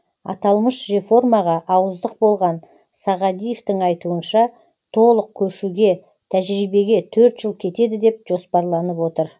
аталмыш реформаға ауыздық болған сағадиевтің айтуынша толық көшуге тәжірибеге төрт жыл кетеді деп жоспарланып отыр